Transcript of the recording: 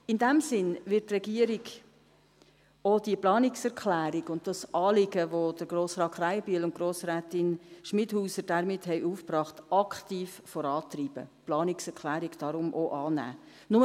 In diesem Sinn wird die Regierung auch diese Planungserklärung und das Anliegen, das Grossrat Krähenbühl und Grossrätin Schmidhauser damit aufgebracht haben, aktiv vorantreiben und die Planungserklärung deshalb auch annehmen.